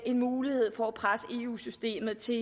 en mulighed for at presse eu systemet til